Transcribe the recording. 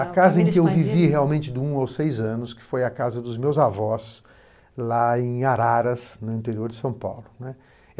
A casa em que eu vivi realmente do um aos seis anos, que foi a casa dos meus avós, lá em Araras, no interior de São Paulo, né.